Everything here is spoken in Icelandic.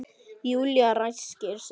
Júlía ræskir sig.